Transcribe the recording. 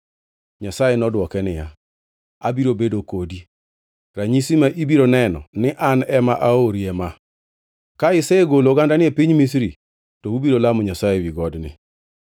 Nyasaye nodwoke niya, “Abiro bedo kodi. Ranyisi ma ibiro neno ni An ema aori ema: Ka isegolo ogandani e piny Misri, to ubiro lamo Nyasaye ewi godni.”